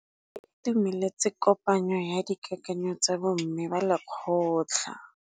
Ba itumeletse kôpanyo ya dikakanyô tsa bo mme ba lekgotla.